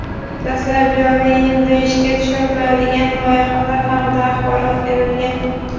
dastlab joriy yilda ishga tushiriladigan loyihalar haqida axborot berilgan.